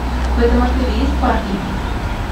в этом отеле есть парки